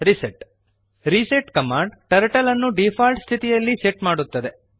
reset reset command turtle ಅನ್ನು default ಸ್ಥಿತಿಯಲ್ಲಿ set ಮಾಡುತ್ತದೆ